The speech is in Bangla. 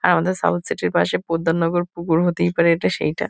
আমাদের সাউথ সিটি -র পাশে পোদ্দার নগর পুকুর হতেই পারে এটা সেইটা।